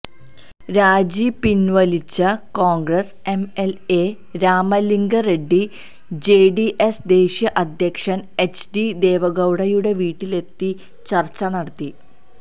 രാജിപിന്വലിച്ച Congress MLA Ramalinga Reddy JDS ദേശീയ അധ്യക്ഷന് H D ദേവഗൌഡയുടെ വീട്ടിലെത്തി ചര്ച്ച നടത്തി